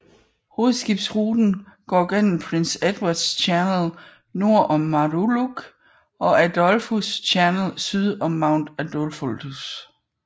Hovedskibsruten går gennem Prince Edward Channel nord om Muralug og Adolphus Channel syd om Mount Adolphus